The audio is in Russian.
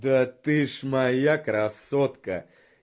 да ты ж моя красотка